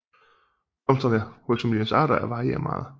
Blomsterne hos familiens arter varierer meget